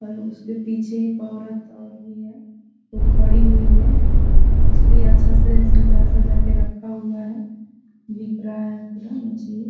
और उसके पीछे एक औरत और भी है वो खड़ी हुई है और मछली अच्छा से सजा-सजा के रखा हुआ है दिख रहा है पूरा नीचे में --